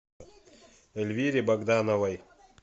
эльвире богдановой